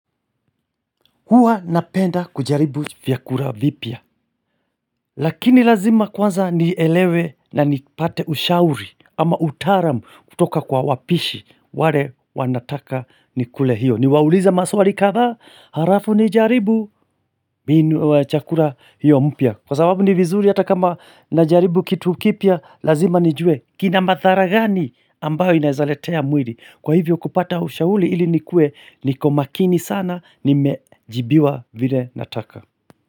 Hua napenda kujaribu vyakula vipya. Lakini lazima kwanza nielewe na nipate ushauri ama utaalam kutoka kwa wapishi. Wale wanataka nikule hiyo. Niwaulize maswali kadhaa halafu nijaribu chakula hiyo mpya. Kwa sababu ni vizuri hata kama najaribu kitu kipya lazima nijue kina madhara gani ambayo inazaletea mwili. Kwa hivyo kupata ushauri ili nikuwe niko makini sana nimejibiwa vile nataka.